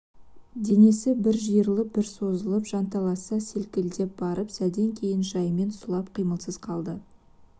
денесі бір жиырылып бір созылып жанталаса селкілдеп барып сәлден кейін жайымен сұлап қимылсыз қалды